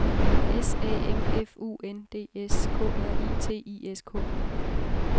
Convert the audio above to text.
S A M F U N D S K R I T I S K